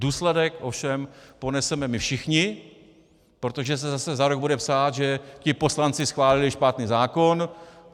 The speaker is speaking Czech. Důsledek ovšem poneseme my všichni, protože se zase za rok bude psát, že ti poslanci schválili špatný zákon.